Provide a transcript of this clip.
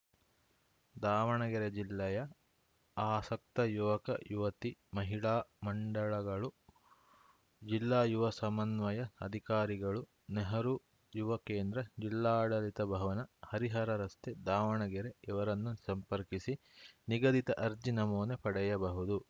ದಾವಣಗೆರೆ ಜಿಲ್ಲೆಯ ಆಸಕ್ತ ಯುವಕ ಯುವತಿ ಮಹಿಳಾ ಮಂಡಳಗಳು ಜಿಲ್ಲಾ ಯುವ ಸಮನ್ವಯ ಅಧಿಕಾರಿಗಳು ನೆಹರು ಯುವ ಕೇಂದ್ರ ಜಿಲ್ಲಾಡಳಿತ ಭವನ ಹರಿಹರ ರಸ್ತೆ ದಾವಣಗೆರೆ ಇವರನ್ನು ಸಂಪರ್ಕಿಸಿ ನಿಗದಿತ ಅರ್ಜಿ ನಮೂನೆ ಪಡೆಯಬಹುದು